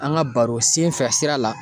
An ga baro senfɛ sira la